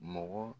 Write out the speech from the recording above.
Mɔgɔ